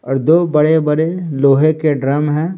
और दो बड़े-बड़े लोहे के ड्रम है।